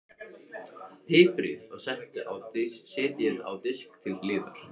Piprið og setjið á disk til hliðar.